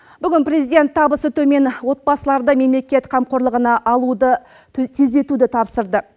бүгін президент табысы төмен отбасыларды мемлекет қамқорлығына алуды тездетуді тапсырды